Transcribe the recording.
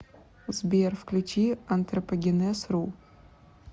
сбер включи антропогенез ру